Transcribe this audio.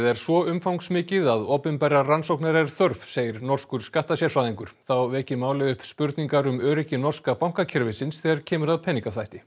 er svo umfangsmikið að opinberrar rannsóknar er þörf segir norskur þá veki málið upp spurningar um öryggi norska bankakerfisins þegar kemur að peningaþvætti